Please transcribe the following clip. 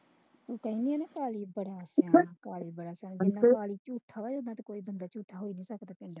ਤੂੰ ਕਹਿਣੀ ਆ ਨਾ ਇੰਨਾ ਝੂਠਾ ਕੋਈ ਹੋ ਨਹੀਂ ਸਕਦਾ।